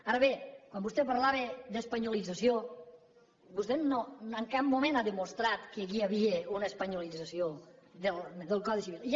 ara bé quan vostè parlava d’espanyolització vostè en cap moment ha demostrat que aquí hi havia una espanyolització del codi civil